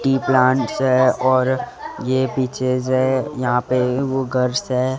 की प्लांट्स सै और ये पीछे से यहां पे वो घर सै।